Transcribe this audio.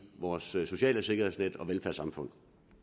vores sociale sikkerhedsnet og velfærdssamfund